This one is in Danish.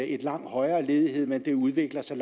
en langt højere ledighed men det udvikler sig